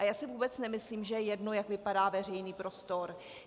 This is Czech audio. A já si vůbec nemyslím, že je jedno, jak vypadá veřejný prostor.